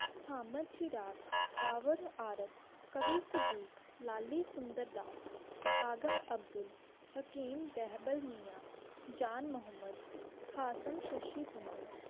हमद चिराग़ आवाज़ अर्क कबीर सदीक़ लाली सुन्दर दस अहम अब्दुल हकीम तेहबल मियां जान मुहम्मद हासम शशि पुणो.